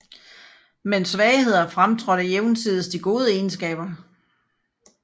Men svagheder fremtrådte jævnsides de gode egenskaber